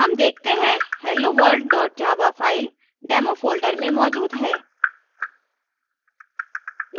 हम देखते हैं helloworld java file demo folder में मौजूद है